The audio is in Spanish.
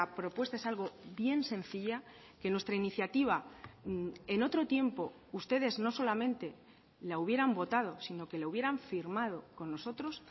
propuesta es algo bien sencilla que nuestra iniciativa en otro tiempo ustedes no solamente la hubieran votado sino que la hubieran firmado con nosotros